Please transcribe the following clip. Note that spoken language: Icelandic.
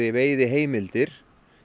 veiðiheimildir